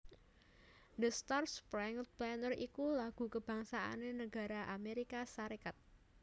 The Star Spangled Banner iku lagu kabangsané negara Amerika Sarékat